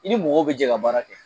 I ni mɔgɔw bɛ jɛ ka baara kɛ